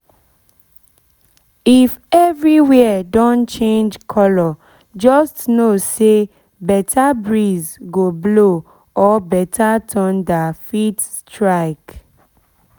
if everywhere don change color just know say better breeze go blow or better thunder fit strike